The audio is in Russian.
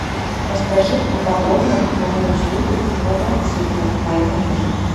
расскажи подробно про услугу квадроциклов в моем отеле